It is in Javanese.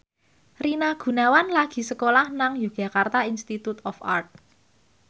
Rina Gunawan lagi sekolah nang Yogyakarta Institute of Art